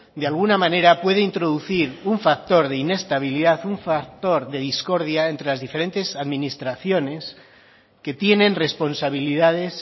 de alguna manera puede introducir un factor de inestabilidad un factor de discordia entre las diferentes administraciones que tienen responsabilidades